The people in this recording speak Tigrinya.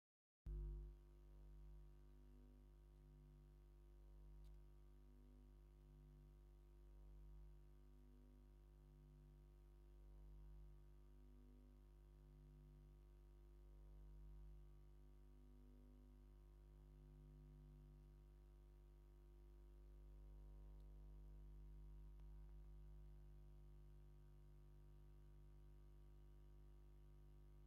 ቅድሚን ድሕሪን ሕክምና ጸገም ሕማም ማድያት ዝመጽእ ለውጢ ዘርኢ እዩ። ኣብ መስርሕ ምሕካም ድንሽን ካብ ድንሽ ዝተሰርሐ ፍታሕን ይጥቀሙ፤ ተስፋን ምምሕያሽ ጥዕናን ተፈጥሮኣዊ ፈውሲ ስምዒትን ይህብ። ጸገም ሕማም ማድያት ብኣጠቓቕማ ድንሽ ክመሓየሽ ክንደይ ግዜ ወሲዱሉ?